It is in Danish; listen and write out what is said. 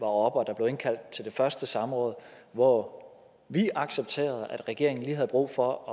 og der blev indkaldt til det første samråd hvor vi accepterede at regeringen lige havde brug for at